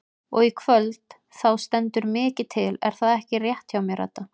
Og í kvöld þá stendur mikið til er það ekki rétt hjá mér Edda?